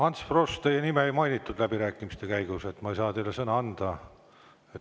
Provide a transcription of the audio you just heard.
Ants Frosch, teie nime ei mainitud läbirääkimiste käigus, ma ei saa teile sõna anda.